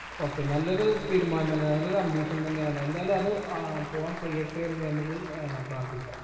okay നല്ലൊരു തീരുമാനം തന്നെ അത് ഒരു ambition തന്നെയാണ് എന്തായാലും അത് ആഹ് പോവാൻ കഴിയട്ടെ എന്ന് നമ്മക്ക് ഏർ പ്രാർത്ഥിക്കാം